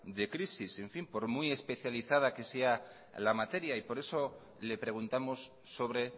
de crisis por muy especializada que sea la materia y por eso le preguntamos sobre